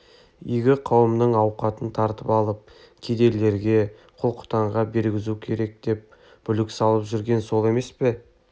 игі қауымның ауқатын тартып алып кедейлерге құл-құтанға бергізу керек деп бүлік салып жүрген сол емес пе